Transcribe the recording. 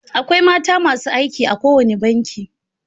Akwai mata masu aiki a kowane banki.